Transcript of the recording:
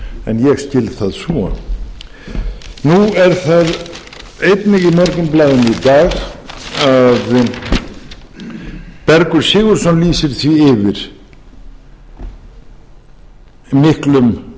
en ég skil það svo nú er það einnig í morgunblaðinu í dag að bergur sigurðsson lýsir yfir miklum